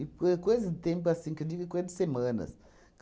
foi coisa de tempo, assim, que eu digo coisa de semanas.